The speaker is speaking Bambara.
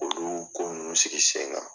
K'olu ko nunnu sigi sen kan.